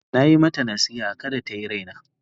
Na yi mata nasiha da kada ta yi raina.